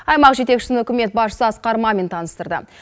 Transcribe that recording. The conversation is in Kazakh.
аймақ жетекшісін үкімет басшысы асқар мамин таныстырды